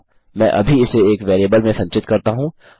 मैं अभी इसे एक वेरिएबल में संचित करता हूँ